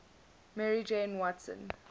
mary jane watson